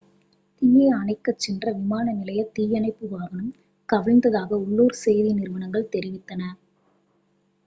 தீயை அணைக்கச் சென்ற விமான நிலைய தீயணைப்பு வாகனம் கவிழ்ந்ததாக உள்ளூர் செய்தி நிறுவனங்கள் தெரிவித்தன